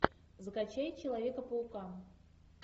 закачай человека паука